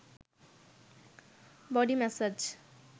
body massage